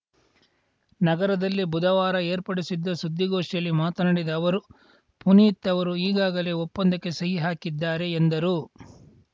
ನಗರದಲ್ಲಿ ಬುಧವಾರ ಏರ್ಪಡಿಸಿದ್ದ ಸುದ್ದಿಗೋಷ್ಠಿಯಲ್ಲಿ ಮಾತನಾಡಿದ ಅವರು ಪುನೀತ್‌ ಅವರು ಈಗಾಗಲೇ ಒಪ್ಪಂದಕ್ಕೆ ಸಹಿ ಹಾಕಿದ್ದಾರೆ ಎಂದರು